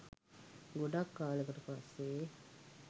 ගොඩක් කාලෙකට පස්සේ